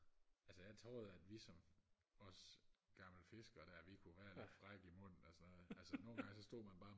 altså jeg troede at vi som os gamle fiskere der vi kunne være lidt frække i munden og sådan noget nogengange så stod man bare